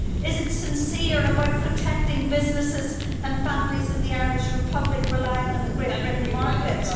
Is it sincere about protecting businesses and families in the Irish Republic relying on the Great Britain market?